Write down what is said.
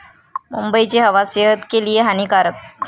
मुंबईची हवा सेहत के लिए हानीकारक!